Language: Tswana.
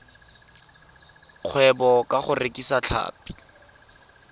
kgwebo ka go rekisa tlhapi